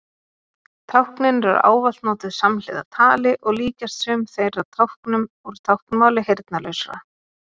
Táknin eru ávallt notuð samhliða tali og líkjast sum þeirra táknum úr táknmáli heyrnarlausra.